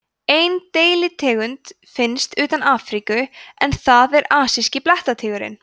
ein deilitegund finnst utan afríku en það er asíski blettatígurinn